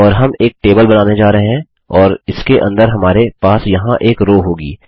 और हम एक टेबल बनाने जा रहे हैं और इसके अंदर हमारे पास यहाँ एक रो होगी